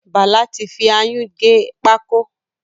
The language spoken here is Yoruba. Bàlá ti fi ayún gé pákó.